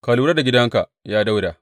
Ka lura da gidanka, ya Dawuda!